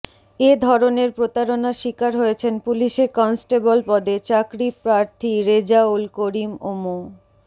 এ ধরণের প্রতারণার শিকার হয়েছেন পুলিশে কনস্টেবল পদে চাকরি প্রার্থী রেজাউল করিম ও মো